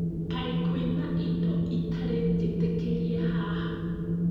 Kaĩ kwĩna indo itarĩ njĩtĩkĩrie haha?